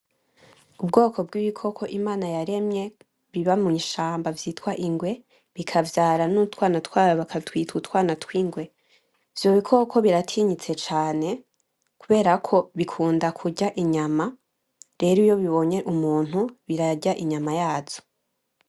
Ubwoko bw'ibikoko Imana yaremye biba mwishamba vyitwa ingwe, bikavyara n'utwana twabo bakatwita utwana tw'ingwe. Ibyo bikoko biratinyitse cane kubera ko bikunda kurya inyama, rero iyo bibonye umuntu birarya inyama yazo.